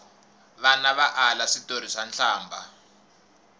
vana va ala switori swa nhlambha